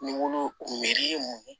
Ni wolon ye mun ye